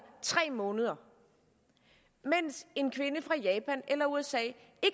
tre måneder mens en kvinde fra japan eller usa ikke